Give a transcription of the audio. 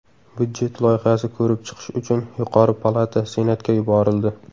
Budjet loyihasi ko‘rib chiqish uchun yuqori palata senatga yuborildi.